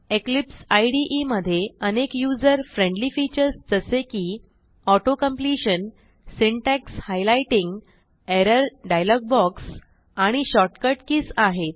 Eclipse IDE मधे अनेक user friendly features जसे की auto completion syntax highlighting error dialog box आणि शॉर्टकट कीज आहेत